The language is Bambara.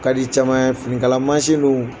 ka di caman finikala mansin dun